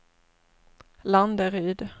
Landeryd